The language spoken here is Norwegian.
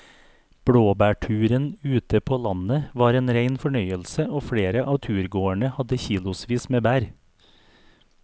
Blåbærturen ute på landet var en rein fornøyelse og flere av turgåerene hadde kilosvis med bær.